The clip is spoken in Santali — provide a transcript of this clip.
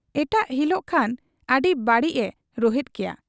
ᱮᱴᱟᱜ ᱦᱤᱞᱚᱜ ᱠᱷᱟᱱ ᱟᱹᱰᱤ ᱵᱟᱹᱲᱤᱡ ᱮ ᱨᱩᱦᱮᱫ ᱠᱮᱭᱟ ᱾